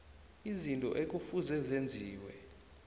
izinto ekufuze zenziwe